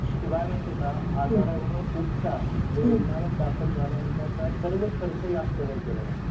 शिवाय माहित आहे का, आजारावर उपचार व रुग्णालयात दाखल झाल्यानंतरचा सर्व खर्च ह्यात कव्हर केला जातो